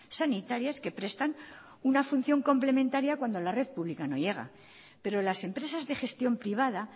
sanitarias que prestan una función complementaria cuando la red pública no llega pero las empresas de gestión privada